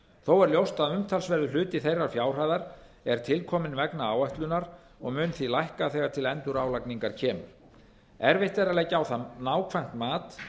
þó er ljóst að umtalsverður hluti þeirra fjárhæðar er tilkominn vegna áætlunar og mun því lækka þegar til endurálagningar kemur erfitt er að leggja á það nákvæmt mat